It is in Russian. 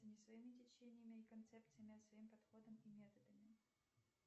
не своими течениями и концепциями а своим подходом и методами